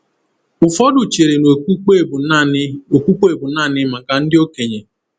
Ụfọdụ chere na okpukpe bụ naanị okpukpe bụ naanị maka ndị okenye.